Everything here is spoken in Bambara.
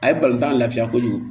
A ye tan lafiya kojugu